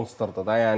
Monsterdir də.